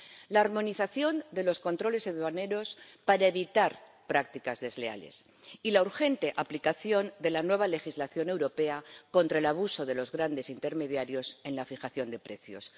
la armonización de los controles aduaneros para evitar prácticas desleales, y la urgente aplicación de la nueva legislación europea contra el abuso de los grandes intermediarios en la fijación de precios.